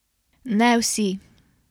Ne vsi?